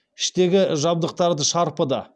іштегі жабдықтарды шарпыды